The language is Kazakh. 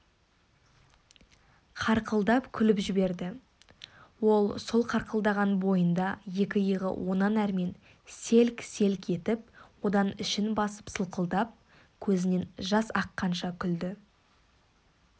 қарқылдап күліп жіберді ол сол қарқылдаған бойында екі иығы онан әрмен селк-селк етіп одан ішін басып сылқылдап көзінен жас аққанша күлді